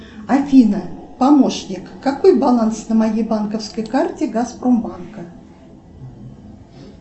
афина помощник какой баланс на моей банковской карте газпромбанка